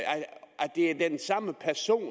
det er den samme person